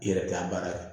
I yɛrɛ t'a baara kɛ